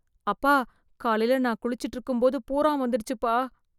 அப்பா, காலைல நான் குளிச்சுட்டு இருக்கும்போது பூரான் வந்துடுச்சுப்பா.